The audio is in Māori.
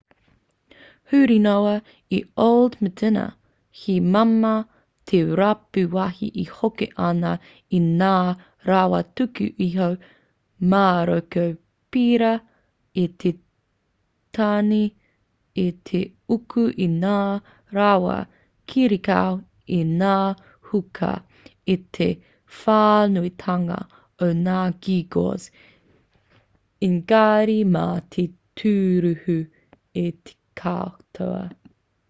huri noa i old medina he māmā te rapu wāhi e hoko ana i ngā rawa tuku iho māroko pērā i te tagine i te uku i ngā rawa kirikau i ngā hookah i te whānuitanga o ngā geegaws engari mā te tūruhi te katoa